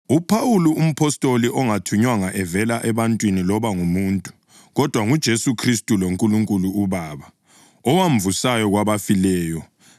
UPhawuli umpostoli ongathunywanga evela ebantwini loba ngumuntu, kodwa nguJesu Khristu loNkulunkulu uBaba, owamvusayo kwabafileyo,